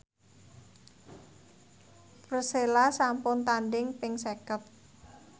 Persela sampun tandhing ping seket